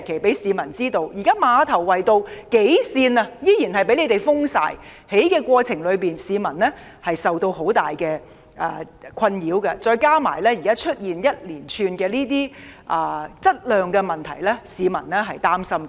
現時馬頭圍道數條行車線仍然被封，在施工過程中，市民受到很大滋擾，再加上現時出現這些一連串的質量問題，市民實在擔心。